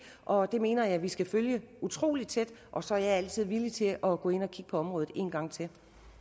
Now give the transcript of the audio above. og det mener jeg vi skal følge utrolig tæt og så er jeg altid villig til at gå ind og kigge på området en gang til